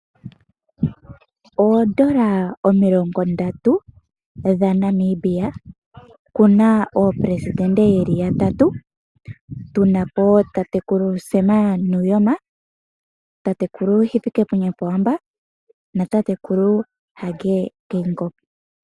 Oondola omilongo ndatu dhaNamibia kuna aaleli yoshilongo yeli yatatu tunapo tatekulu Sam Nujoma, tatekulu Hifikepunye Pohamba na tatekulu Hage Geingob.